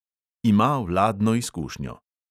Ima vladno izkušnjo.